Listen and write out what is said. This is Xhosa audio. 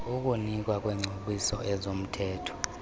ukunikwa kwengcebiso yezomthetho